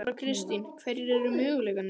Þóra Kristín: Hverjir eru möguleikarnir?